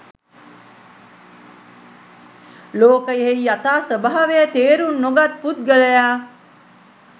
ලෝකයෙහි යථා ස්වභාවය තේරුම් නොගත් පුද්ගලයා